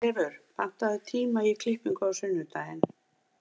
Herleifur, pantaðu tíma í klippingu á sunnudaginn.